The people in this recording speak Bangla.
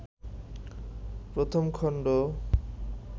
১ম খণ্ড